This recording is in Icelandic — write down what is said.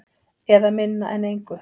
Eða minna en engu.